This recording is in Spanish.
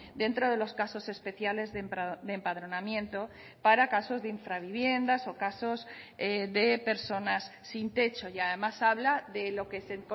dentro de los casos especiales de empadronamiento para casos de infraviviendas o casos de personas sin techo y además habla de lo que se